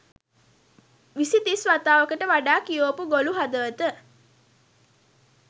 විසි තිස් වතාවකට වඩා කියෝපු ගොලු හදවත